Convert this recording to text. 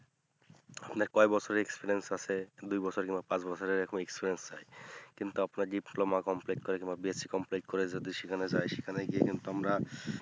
আপনার কয় বছর experience আছে দুই বছর কিংবা পাঁচ বছরের এই রকম experience চাই কিন্তু আপনার diploma complete করে কিংবা BCScomplete করে যদি সেখানে যাই সেখানে গিয়া কিন্তু আমরা